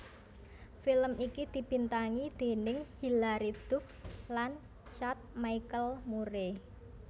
Film iki dibintangi déning Hillary Duff lan Chad Michael Murray